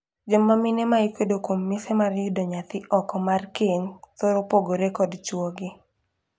Joma mine ma ikwedo kuom mise mar yudo nyathi oko mar keny thoro pogore kod chwogi.